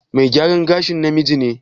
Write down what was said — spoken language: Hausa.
Me gyaran gashin namiji ne?